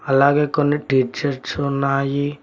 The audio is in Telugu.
అలాగే కొన్ని టీ షర్ట్స్ ఉన్నాయి.